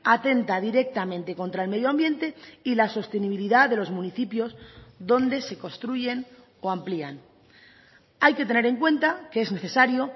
atenta directamente contra el medio ambiente y la sostenibilidad de los municipios donde se construyen o amplían hay que tener en cuenta que es necesario